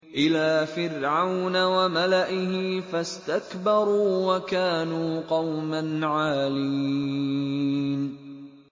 إِلَىٰ فِرْعَوْنَ وَمَلَئِهِ فَاسْتَكْبَرُوا وَكَانُوا قَوْمًا عَالِينَ